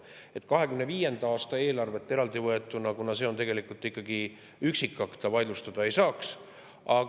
2025. aasta eelarvet eraldivõetuna, mis on tegelikult ikkagi üksikakt, ta vaidlustada ei saaks.